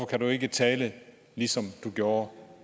kan du ikke tale ligesom du gjorde